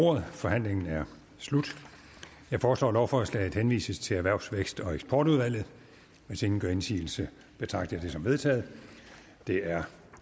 ordet forhandlingen er slut jeg foreslår at lovforslaget henvises til erhvervs vækst og eksportudvalget hvis ingen gør indsigelse betragter jeg det som vedtaget det er